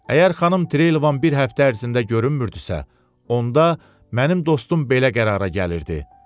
Əgər xanım Trevən bir həftə ərzində görünmürdüsə, onda mənim dostum belə qərara gəlirdi.